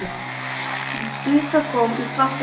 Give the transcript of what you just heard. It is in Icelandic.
Sú stutta kom í svarta myrkri.